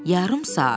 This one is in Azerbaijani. Yarım saat.